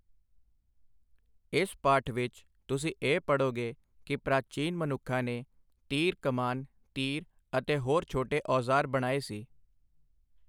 ਇਸ ਪਾਠ ਵਿਚ ਤੁਸੀਂ ਇਹ ਪੜ੍ਹੋਗੇ ਕਿ ਪ੍ਰਾਚੀਨ ਮਨੁੱਖਾਂ ਨੇ ਤੀਰ ਕਮਾਨ ਤੀਰ ਅਤੇ ਹੋਰ ਛੋਟੇ ਔਜਾਰ ਬਣਾਏ ਸੀ।